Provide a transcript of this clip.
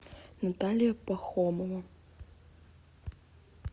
наталья пахомова